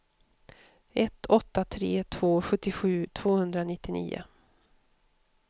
ett åtta tre två sjuttiosju tvåhundranittionio